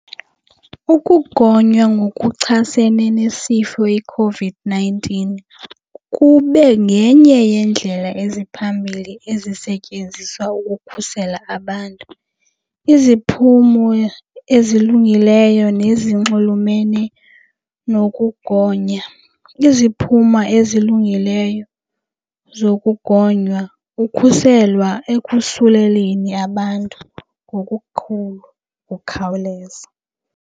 Ukugonywa ngokuchasene nesifo iCOVID-nineteen kube ngenye yendlela eziphambili ezisetyenziswa ukukhusela abantu. Iziphumo ezilungileyo nezinxulumene nokugonya, iziphumo ezilungileyo zokugonywa ukhuselwa ekusuleleni abantu ngokukhulu ukhawuleza.